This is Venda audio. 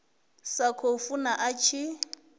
sa khou funa a tshi